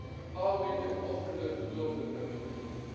how we can offer them to those that have difficulty.